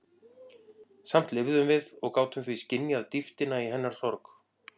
Samt lifðum við og gátum því skynjað dýptina í hennar sorg.